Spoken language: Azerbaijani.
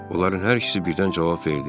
Onların hər ikisi birdən cavab verdi.